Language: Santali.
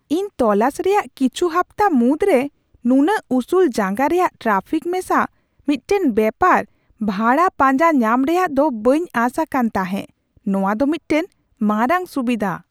ᱤᱧ ᱛᱚᱞᱟᱥ ᱨᱮᱭᱟᱜ ᱠᱤᱪᱷᱩ ᱦᱟᱯᱛᱟ ᱢᱩᱫᱽᱨᱮ ᱱᱩᱱᱟᱹᱜ ᱩᱥᱩᱞ ᱡᱟᱸᱜᱟ ᱨᱮᱭᱟᱜ ᱴᱨᱟᱯᱷᱤᱠ ᱢᱮᱥᱟ ᱢᱤᱫᱴᱟᱝ ᱵᱮᱯᱟᱨ ᱵᱷᱟᱲᱟ ᱯᱟᱸᱡᱟ ᱧᱟᱢ ᱨᱮᱭᱟᱜ ᱫᱚ ᱵᱟᱹᱧ ᱟᱥ ᱟᱠᱟᱱ ᱛᱟᱦᱮᱸ ᱼ ᱱᱚᱶᱟ ᱫᱚ ᱢᱤᱫᱴᱟᱝ ᱢᱟᱨᱟᱝ ᱥᱩᱵᱤᱫᱷᱟ ᱾